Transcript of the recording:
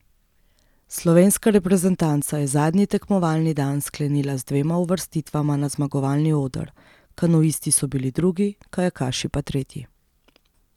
Slovenska reprezentanca je zadnji tekmovalni dan sklenila z dvema uvrstitvama na zmagovalni oder, kanuisti so bili drugi, kajakaši pa tretji.